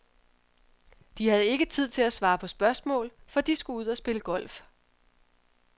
De havde ikke tid til at svare på spørgsmål, for de skulle ud og spille golf.